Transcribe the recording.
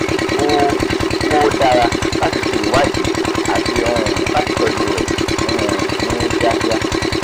ó ó dára láti ṣe ìwádìí àti um láti tọ́jú rẹ̀ um ní kíákíá